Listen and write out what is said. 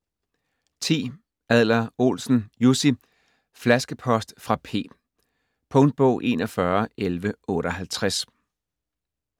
Adler-Olsen, Jussi: Flaskepost fra P Punktbog 411158